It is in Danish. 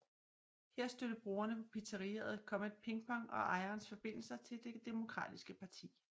Her stødte brugerne på pizzeriaet Comet Ping Pong og ejerens forbindelser til Det Demokratiske Parti